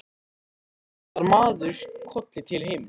Og svo kinkar maður kolli til himins.